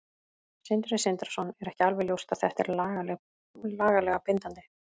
Sindri Sindrason: Er ekki alveg ljóst að þetta er lagalega bindandi?